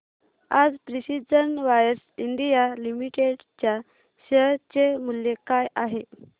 आज precision wires India limited च्या share चे मूल्य काय आहे